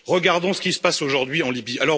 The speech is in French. Regardons ce qui se passe aujourd'hui en Libye.